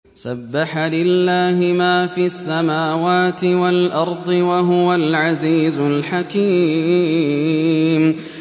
سَبَّحَ لِلَّهِ مَا فِي السَّمَاوَاتِ وَالْأَرْضِ ۖ وَهُوَ الْعَزِيزُ الْحَكِيمُ